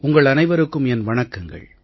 உங்கள் அனைவருக்கும் என் வணக்கங்கள்